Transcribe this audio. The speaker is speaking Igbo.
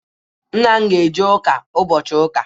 Nne m ga-eje ụka ụbochị ụka.